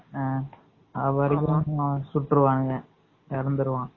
ஆஹ் அவன் இருக்கான் சுற்றுவாங்க, இறந்துருவான்